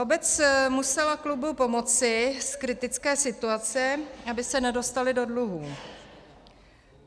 Obec musela klubu pomoci z kritické situace, aby se nedostali do dluhů.